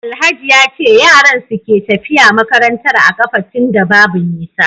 Alhaji yace yaran suke tafiya makarantar a kafa tunda Babu nisa